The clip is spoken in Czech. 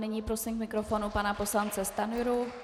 Nyní prosím k mikrofonu pana poslance Stanjuru.